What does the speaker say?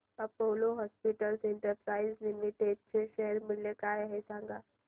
Apollo Hospitals Enterprise Limited चे share मूल्य काय आहे सांगा